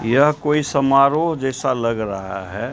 यह कोई समारोह जैसा लग रहा है।